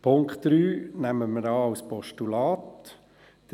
Den Punkt 3 nehmen wir als Postulat an.